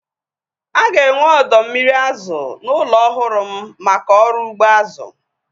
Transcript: Aga enwe ọdọ mmiri azụ n'ụlọ ọhụrụ m maka ọrụ ugbo azụ